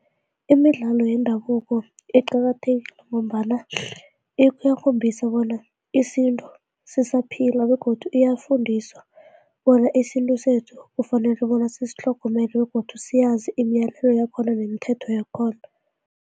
Imidlalo yendabuko iqakathekile ngombana iyakhombisa bona isintu sisaphila begodu iyafundisa bona isintu sethu kufanele bona sisitlhogomele begodu siyazi imiyalelo yakhona nemithetho yakhona.